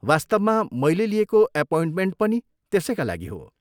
वास्तवमा, मैले लिएको एपोइन्टमेन्ट पनि त्यसैका लागि हो।